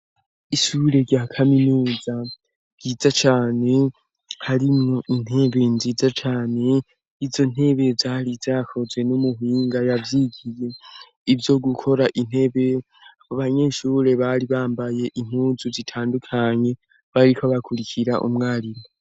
Ishure rya kaminuza ryiza cane, harimwo intebe nziza cane; izo ntebe yari zakozwe n'umuhinga yavyigiye. Ivyo gukora intebe abanyeshure bari bambaye intuzu zitandukanye, bariko bakurikira umwarimu.